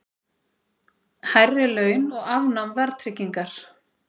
Hærri laun og afnám verðtryggingar